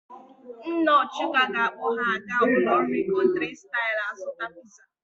Nna Ọchụko ga-akpọ ha aga ụlọ nri Country style azụta piza.